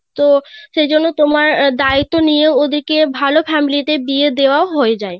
তো সেই জন্য তোমার দায়িত্ব নিয়ে ওদের কে ওদের কে ভাল Family তে বিয়ে দেওয়া হয়ে যায়